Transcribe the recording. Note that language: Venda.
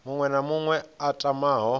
muṅwe na muṅwe a tamaho